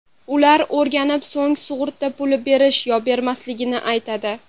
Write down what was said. Ular o‘rganib, so‘ng sug‘urta puli berish yo bermasligini aytadi.